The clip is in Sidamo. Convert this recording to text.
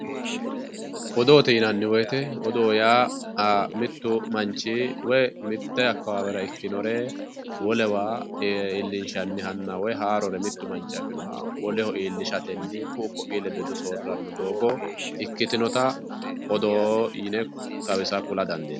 odoote yinanni wote odoo yaa mittu manchi mitte akkawaawera ikkinore wolewa iillinshannihanna woy haarore mittu manchi afinoha woleho iillishatenni ku'u ku'ii ledo hedo soorrirannota ikkitinota odoo yine xawisa kula dandiinanni.